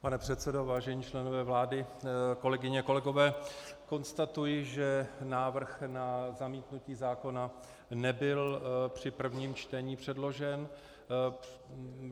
Pane předsedo, vážení členové vlády, kolegyně, kolegové, konstatuji, že návrh na zamítnutí zákona nebyl při prvním čtení předložen.